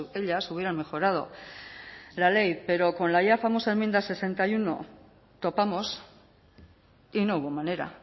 ellas hubieran mejorado la ley pero con la ya famosa enmienda sesenta y uno topamos y no hubo manera